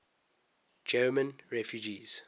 german refugees